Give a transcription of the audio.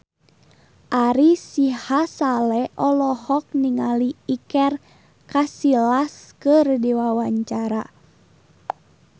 Ari Sihasale olohok ningali Iker Casillas keur diwawancara